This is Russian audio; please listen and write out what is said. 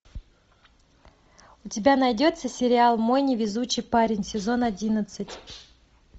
у тебя найдется сериал мой невезучий парень сезон одиннадцать